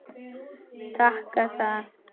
Taka það?